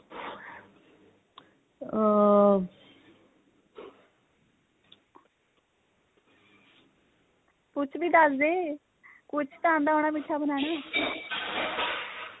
ਕੁੱਛ ਵੀ ਦਸਦੇ ਕੁੱਛ ਤਾਂ ਆਂਦਾ ਹੋਣਾ ਮਿੱਠਾ ਬਨਾਣਾ back noise